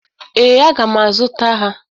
Ee, aga m azụta ha.